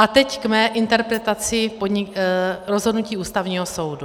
A teď k mé interpretaci rozhodnutí Ústavního soudu.